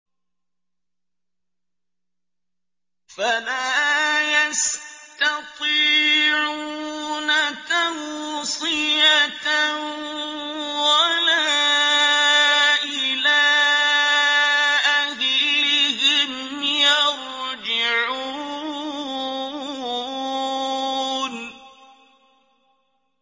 فَلَا يَسْتَطِيعُونَ تَوْصِيَةً وَلَا إِلَىٰ أَهْلِهِمْ يَرْجِعُونَ